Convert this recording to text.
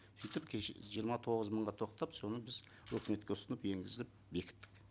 сөйтіп кеше жиырма тоғыз мыңға тоқтап соны біз өкіметке ұсынып енгізіп бекіттік